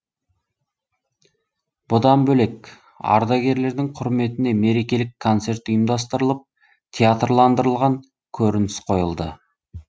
бұдан бөлек ардагерлердің құрметіне мерекелік концерт ұйымдастырылып театрландырылған көрініс қойылды